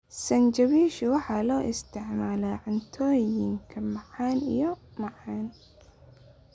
Sinjibiishu waxa loo isticmaalaa cuntooyinka macaan iyo macaan.